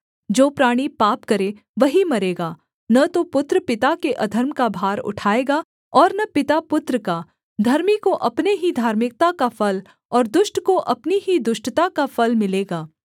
जो प्राणी पाप करे वही मरेगा न तो पुत्र पिता के अधर्म का भार उठाएगा और न पिता पुत्र का धर्मी को अपने ही धार्मिकता का फल और दुष्ट को अपनी ही दुष्टता का फल मिलेगा